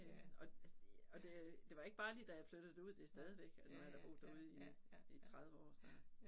Øh og altså og det øh det var ikke bare lige da jeg flyttede derud det stadigvæk og nu har jeg da boet derude i i 30 år snart